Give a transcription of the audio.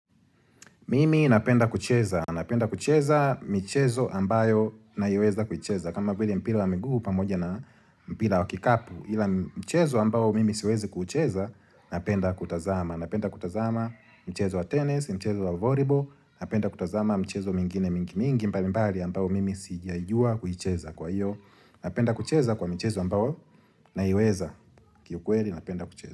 Mimi napenda kucheza, napenda kucheza michezo ambayo naiweza kucheza. Kama vili mpira wa miguu pamoja na mpira wa kikapu, ila mchezo ambao mimi siwezi kucheza, napenda kutazama. Napenda kutazama mchezo wa tennis, mchezo wa volleyball, napenda kutazama mchezo mingine mingi mingi mbali mbali ambayo mimi sijaijua kucheza kwa hiyo. Napenda kucheza kwa mchezo ambayo naiweza kiukweli, napenda kucheza.